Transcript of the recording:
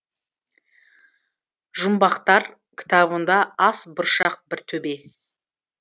жұмбақтар кітабында ас бұршақ бір төбе